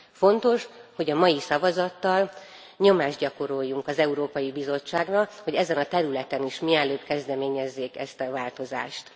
Fontos, hogy a mai szavazattal nyomást gyakoroljunk az Európai Bizottságra, hogy ezen a területen is mielőbb kezdeményezzék ezt a változást.